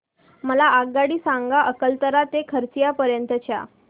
मला आगगाडी सांगा अकलतरा ते खरसिया पर्यंत च्या